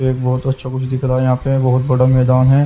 एक बहुत अच्छा कुछ दिख रहा है यहाँ पे बहुत बड़ा मैदान है।